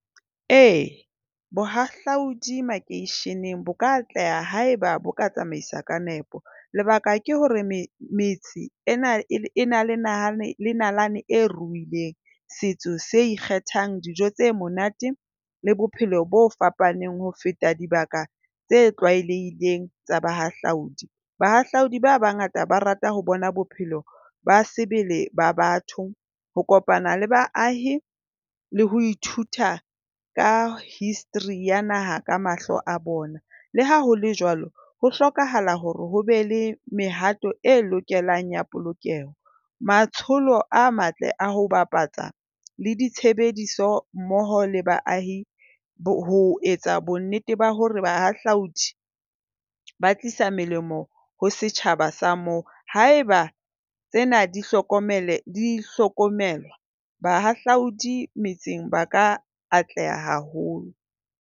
E, bohahlaudi makeisheneng bo ka atleha haeba bo ka tsamaiswa ka nepo. Lebaka ke hore metse e na le nahane nalane e ruileng setso se ikgethang, dijo tse monate le bophelo bo fapaneng ho feta dibaka tse tlwaelehileng tsa bahahlaodi. Bahahlaodi ba bangata ba rata ho bona bophelo ba sebele ba batho, ho kopana le baahi le ho ithuta ka history ya naha ka mahlo a bona. Le ha ho le jwalo ho hlokahala hore ho be le mehato e lokelang ya polokeho. Matsholo a matle a ho bapatsa le ditshebediso mmoho le baahi, ho etsa bonnete ba hore bahahlaodi ba tlisa melemo ho setjhaba sa moo. Haeba tsena di hlokomele, di hlokomelwa, bahahlaodi metseng ba ka atleha haholo.